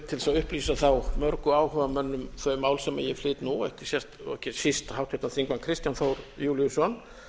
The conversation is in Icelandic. þess að upplýsa þá mörgu áhugamenn um þau mál sem ég flyt nú og ekki síst háttvirtir þingmenn kristján þór júlíusson